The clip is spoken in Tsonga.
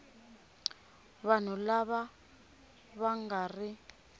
vanhu lava va nga ri